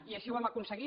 i així ho hem aconseguit